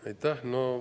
Aitäh!